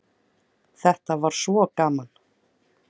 Þetta var svo gaman.